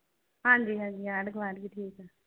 ਹਾਂਜੀ ਹਾਂਜੀ ਆਂਢ ਗੁਆਂਢ ਵੀ ਠੀਕ ਆ।